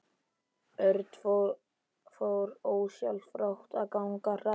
Örn fór ósjálfrátt að ganga hraðar.